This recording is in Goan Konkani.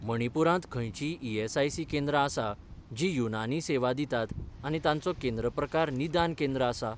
मणिपूरांत खंयचींय ईएसआयसी केंद्रां आसा जीं युनानी सेवा दितात आनी तांचो केंद्र प्रकार निदान केंद्र आसा?